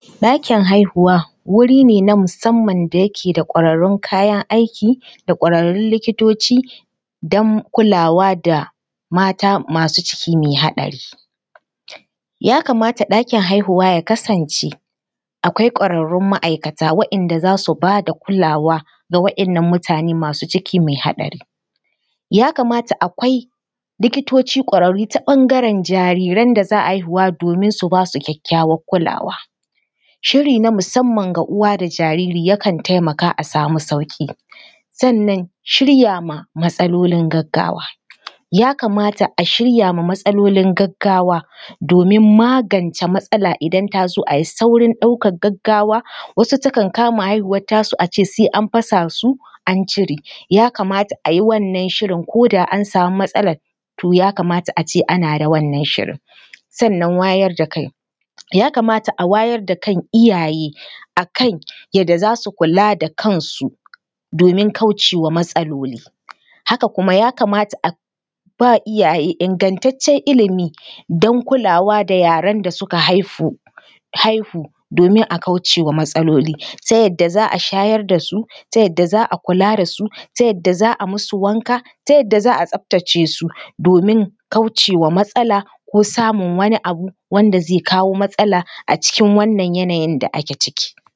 Ɗakin haihuwa wuri ne na musamman da yake da ƙwararrun kayan aiki da ƙwararrun likitoci don kulawa da mata masu ciki mai haɗari. Ya kamata ɗakin haihuwa ya kasance akwai ƙwararrun ma’aikata waɗanda za su ba da kulawa na waɗannan mutane masu ciki mai haɗari. Ya kamata akwai likitoci ƙwararru ta ɓangaren jariran da za a haihuwa domin su ba su kyakkyawar kulawa. Shiri na musamman ga uwa da jariri yakan taimaka a samu sauƙi. Sannan shirya ma matsalolin gaggawa. Ya kamata a shirya ma matsalolin gaggawa domin magance matsala idan ta zo a yi saurin ɗaukar gaggawa. Wasu takan kama haihuwar tasu a ce sai an fasa su, an cire. Ya kamata a yi wannan shirin ko da an samu matsalar to ya kamata a ce ana da wannan shirin. Sannan wayar da kai, ya kamata a wayar da kan iyaye a kan yadda za su kula da kansu, domin kauce wa matsaloli. Haka kuma ya kamata a ba iyaye ingantaccen ilimi don kulawa da yaran da suka haihu, haihu domin a kauce wa matsloli, ta yadda za a shayar da su, ta yadda za a kula da su, ta yadda za a musu wanka, ta yadda za a tsaftace su domin kauce wa matsala ko samun wani abu wanda zai kawo matsala a cikin wannan yanayin da ake ciki.